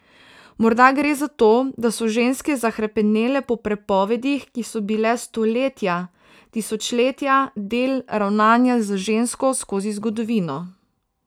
Morda gre za to, da so ženske zahrepenele po prepovedih, ki so bile stoletja, tisočletja del ravnanja z žensko skozi zgodovino.